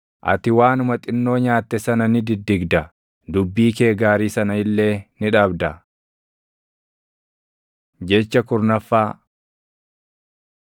Ati waanuma xinnoo nyaatte sana ni diddigda; dubbii kee gaarii sana illee ni dhabda. Jecha kurnaffaa